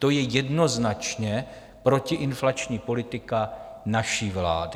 To je jednoznačně protiinflační politika naší vlády.